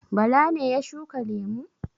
Bala ne ya shuka lemu?